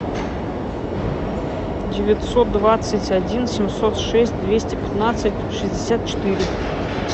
девятьсот двадцать один семьсот шесть двести пятнадцать шестьдесят четыре